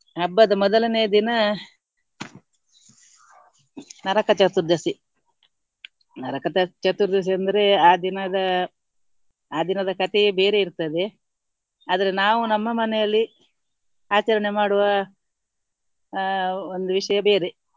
ಹಬ್ಬದ ಮೊದಲನೇ ದಿನ ನರಕ ಚತುರ್ದಶಿ. ನರಕ ತರ್~ ಚತುರ್ದಶಿ ಅಂದ್ರೆ ಆ ದಿನದ ಆ ದಿನದ ಕಥೆಯೇ ಬೇರೆ ಇರ್ತದೆ. ಆದ್ರೆ ನಾವು ನಮ್ಮ ಮನೆಯಲ್ಲಿ ಆಚರಣೆ ಮಾಡುವ ಆ ಒಂದು ವಿಷಯ ಬೇರೆ.